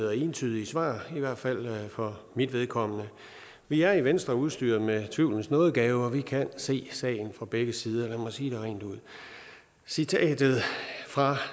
og entydige svar i hvert fald for mit vedkommende vi er i venstre udstyret med tvivlens nådegave og vi kan se sagen fra begge sider lad mig sige det rent ud citatet fra